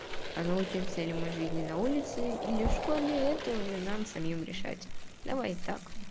а научимся ли мы жизни на улице или в школе это уже нам самим решать давай так